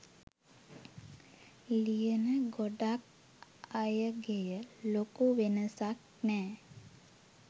ලියන ගොඩක් අයගෙය ලොකු වෙනසක් නෑ